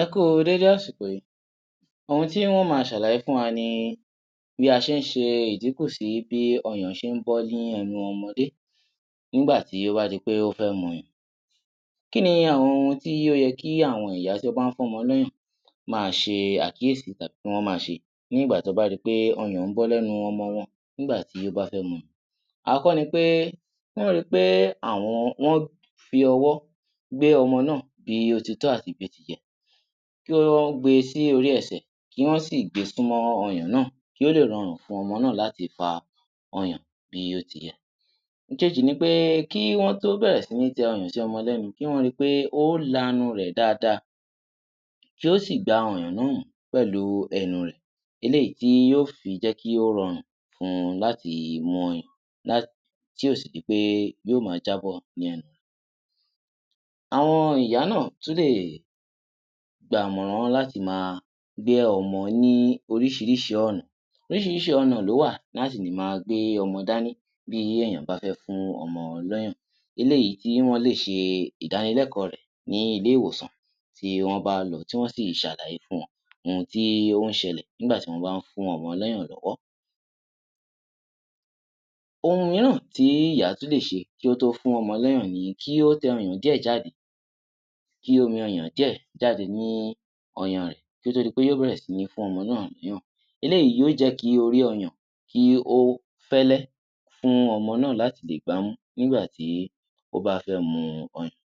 Ẹ kú u déédé àsìkò yí, ohun tí n ó ma ṣàlàyé fún wa ni bí a ṣe ń ṣe ìdíkù sí bí ọyàn ṣe ń bọ́ ní ẹnu ọmọdé nígbà tí ó bá di pé ó fẹ́ muỳan. Kí ni àwọn ohun tí ó yẹ kí àwọn ìyá tí wọ́n bá ń fún ọmọ lọ́yàn ma ṣe àkíyèsí tàbí kí wọ́n ma ṣe nígbà tí wọ́n bá ri pé ọyàn ń bọ́ lẹ́nu ọmọ wọ́n nígbà tí ó bá fé muỳan. Àkọ́kọ́ ni pé kí wọ́n ri pé àwọ́n fí ọwọ́ gbé ọmọ náà bí ó ti tọ́ àti bí ó ti yẹ, kí wọ́n gbe sí orí ẹsẹ̀ kí wọ́n sì gbe súnmọ́ ọyàn náà kí ó lè rọrùn fún ọmọ náà láti fa ọyàn bí ó ti yẹ. Ìkejì ni pé kí wọ́n tó bẹ̀rẹ̀ sí ní tẹ ọyàn sí ọmọ lẹ́nu kí wọ́n ri pé ó lanu rẹ̀ dáadáa kí ó sì gba ọyàn náà pẹ̀lú ẹnu rẹ̀, eléyìí tí ó fi jẹ́ kí ó rọrùn fun láti mu ọyàn tí ò sì di pé yóò ma jábọ́ ní ẹnu rẹ̀. Àwọn ìyá náà tún lè gba ìmọ̀ràn wọn láti ma gbé ọmọ ní oríṣiríṣi ọ̀nà. Oríṣiríṣi ọ̀nà ló wà láti lè ma gbé ọmọ dání bí èèyàn bá fẹ́ fún ọmọ lọ́yàn, eléyìí tí wọ́n lè ṣe ìdánilẹ́kọ̀ọ́ rẹ̀ ní ilé-ìwòsàn tí wọ́n bá lọ tí wọ́n sì ṣàlàyé fún wọn ohun tí ó ń ṣẹlẹ̀ nígbà tí wọ́n bá ń fún ọmọ lọ́yàn lọ́wọ́. Ohun míràn tí ìyá tún lè ṣe kí ó tó fún ọmọ lọ́yàn ni wí pé kí ó tẹ ọyàn díẹ̀ jáde, kí omi ọyàn díẹ̀ jáde ní ọyàn rẹ̀ kí ó tó di pé ó bẹ̀rẹ̀ sí ní fún ọmọ náà loyan, eléyìí yóò jẹ́ kí orí ọyàn kí ó fẹ́lẹ́ fún ọmọ náà láti lè gbámù nígbà tí ó bá fẹ́ mu ọyàn.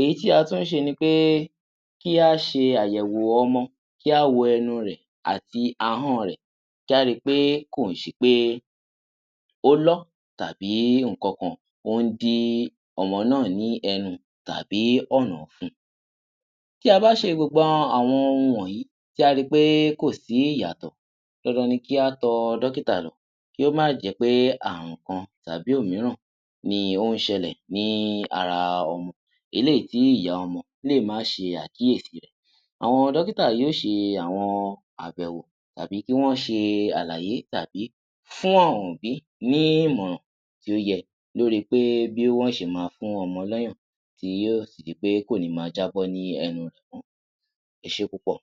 Èyí tí a tún ṣe ni pé kí á ṣe àyẹ̀wò ọmọ, kí á wo ẹnu rẹ̀ àti ahọ́n rẹ̀ kí á ri pé kò ń ṣe pé ó lọ́ tàbí nǹkan kan ó ń dí ọmọ náà ní ẹnu tàbí ọ̀nà ọ̀fun. Tí a bá ṣe gbogbo àẉon ohun wọ̀nyí tí a ri pé kòsí ìyàtọ̀ dandan ni kí á tọ dọ́kítà lọ kí ó má jẹ́ pé àrùn kan tàbí òmíràn ni ó ń ṣẹlẹ̀ ní ara ọmọ eléyìí tí ìyá ọmọ lè má ṣe àkíyèsí. Àwọn dọ́kítà yóò ṣe àwọn àbẹ̀wò tàbí kí wọ́n ṣe àlàyé tàbí fún àwon òbí ní ìmọ̀ràn tí ó yẹ lóri pé bí wọ́n ṣe ma fún ọmọ lọ́yàn tí yóò sì di pé kò ní ma jạ́bọ́ ní ẹnu rẹ̀ mọ́, ẹ ṣé púpọ̀